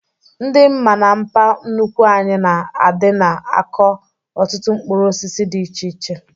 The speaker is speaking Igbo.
Ndị mma na mpa nnukwu anyị na-adịna akọ ọtụtụ mkpụrụ osisi dị iche iche